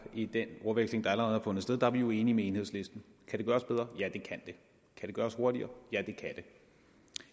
i den ordveksling der allerede har fundet sted er vi jo enige med enhedslisten kan det gøres bedre ja det kan det kan det gøres hurtigere ja det kan det